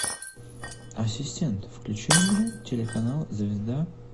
ассистент включи мне телеканал звезда